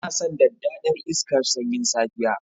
Yana san daddadar iska sanyin safiya.